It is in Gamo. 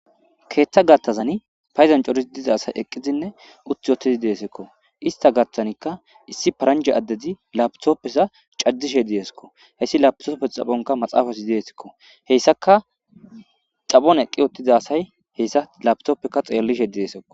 Keeththa gattazani payzan corisi diza asay eqqizinne utti wottidi deesekko ista gathanikka issi paranja addedi laapitoppesa cajjishe diesekko heyssi lapisopfes xaphonka maxaafasi deesekko heyssaka xaphon eqqi ottiza asay heyssa lapitoppekka xeellishe dieesekko.